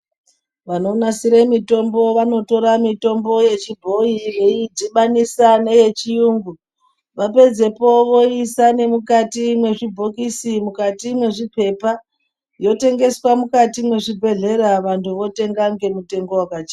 vanonasire mitombo vanotora mitombo yechibhoi yeidhibanisa neyechiyungu. Vapedzepo voiisa nemukati mezvibhokisi mukati mwezvipepa. Yotengeswa mukati mwezvibhedhlera vantu votengesa ngemutengo vakachipa.